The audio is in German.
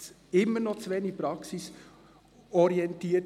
Es ist immer noch zu wenig praxisorientiert.